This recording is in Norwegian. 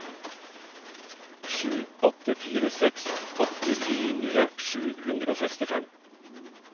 sju åtte fire seks åttifire sju hundre og sekstifem